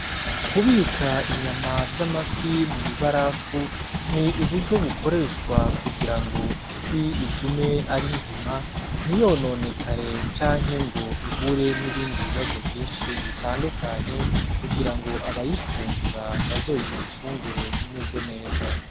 Kubika inyama z'amafi mw'ibarafu ni uburyo bukoreshwa kugira ngo ifi igume ari nzima, ntiyononeke canke ngo ihure n'ibindi bibazo vyinshi bitandukanye kugira ngo abayifungura bazoyifungure imeze neza.